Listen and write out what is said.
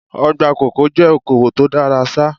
Ọgbà kòkó jẹ́ okowò tó dára ṣá.